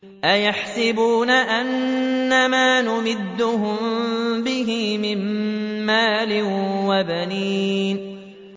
أَيَحْسَبُونَ أَنَّمَا نُمِدُّهُم بِهِ مِن مَّالٍ وَبَنِينَ